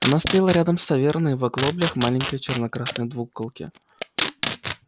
она стояла рядом с таверной в оглоблях маленькой черно-красной двуколки